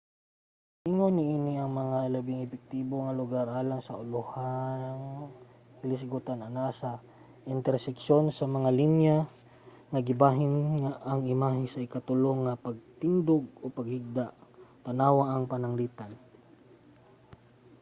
giingon niini nga ang labing epektibo nga lugar alang sa ulohang hilisgutan anaa sa interseksyon sa mga linya nga gibahin ang imahe sa ikatulo nga patindog ug pinahigda tan-awa ang pananglitan